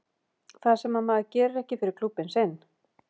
Það sem að maður gerir ekki fyrir klúbbinn sinn.